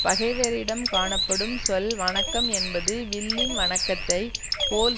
பகைவரிடம் காணப்படும் சொல் வணக்கம் என்பது வில்லின் வணக்கத்தைப் போல்